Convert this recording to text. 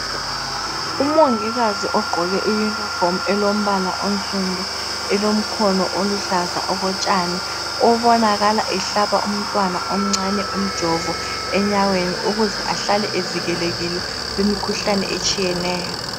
Umongikazi ogqoke I uniform elombala osundu elemkhono oluhlaza okotshani, obonakala ehlaba umntwana omncane umjovo enyaweni ukuze ahlale evikelekile kumikhuhlane etshiyeneyo.